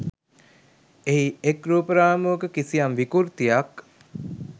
එහි එක් රූප රාමුවක කිසියම් විකෘතියක්